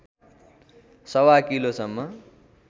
सवा किलोसम्म